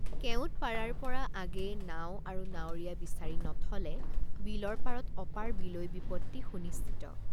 কেওট পাৰাৰপৰ৷ আগেয়ে নাও আৰু নাৱৰীয়া বিচাৰি নথলে বিলৰ পাৰত অপাৰ বিলৈ বিপত্তি সুনিশ্চিত।